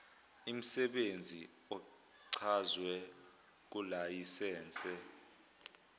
imsebenzi ochazwe kulayisense